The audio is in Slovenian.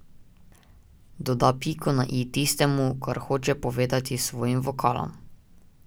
Doda piko na i tistemu, kar hočem povedati s svojim vokalom.